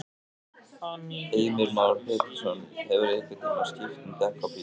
Heimir Már Pétursson: Hefurðu einhvern tímann skipt um dekk á bíl?